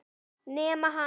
Nema hann.